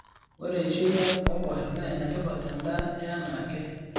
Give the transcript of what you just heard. Ore eishoi ombosho naa enetipat tendaa yeanake.